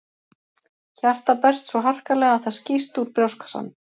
Hjartað berst svo harkalega að það skýst úr brjóstkassanum.